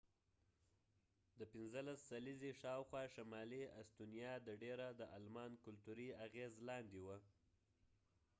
د 15 سلیزی شاوخوا ،شمالی استونیا د ډیره د آلمان کلتوری اغیز لاندې وه